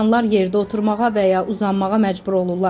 İnsanlar yerdə oturmağa və ya uzanmağa məcbur olurlar.